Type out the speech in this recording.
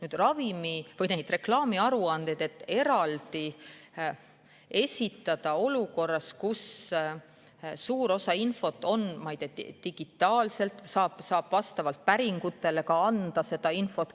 Reklaamiaruandeid eraldi esitada olukorras, kus suur osa infost on digitaalne, vastavalt päringutele saab seda infot anda.